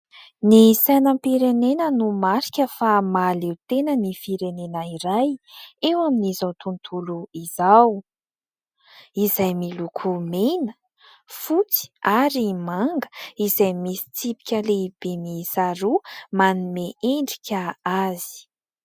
Ny sainam-pirenena no marika fa mahaleo tena ny firenena iray eo amin'izao tontolo izao. Izay miloko mena, fotsy ary manga, izay misy tsipika lehibe miisa roa manome endrika azy.